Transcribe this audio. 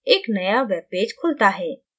एक नया web page खुलता है